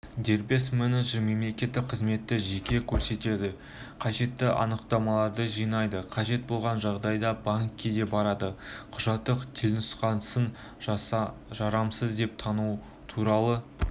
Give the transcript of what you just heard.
дербес менеджер мемлекеттік қызметті жеке көрсетеді қажетті анықтамаларды жинайды қажет болған жағдайда банкке де барады құжаттың телнұсқасын жарамсыз деп тану туралы